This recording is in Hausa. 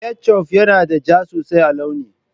ketchuf yana da ja sosai a launi